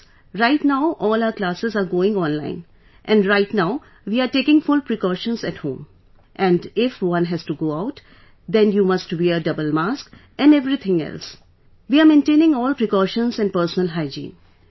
Yes, right now all our classes are going on online and right now we are taking full precautions at home... and if one has to go out, then you must wear a double mask and everything else...we are maintaining all precautions and personal hygiene